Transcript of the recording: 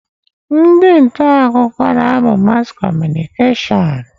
Ndị nta akụkọ na-amụ Mass Communication.